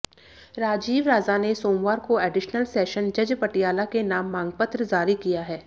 राजीव राजा ने सोमवार को एडिशनल सेशन जज पटियाला के नाम मांगपत्र जारी किया है